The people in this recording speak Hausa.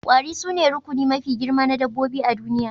Kwari sune rukuni mafi girma na dabbobi a duniya